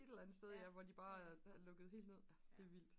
et eller andet sted ja hvor de bare havde lukket helt ned ja det er vildt